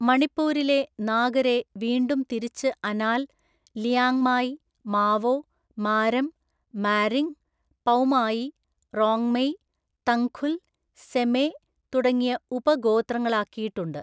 മണിപ്പൂരിലെ നാഗരെ വീണ്ടും തിരിച്ച് അനാൽ, ലിയാങ്മായി, മാവോ, മാരം, മാരിംഗ്, പൗമായി, റോങ്മെയ്, തങ്ഖുൽ, സെമെ തുടങ്ങിയ ഉപഗോത്രങ്ങളാക്കിയിട്ടുണ്ട്.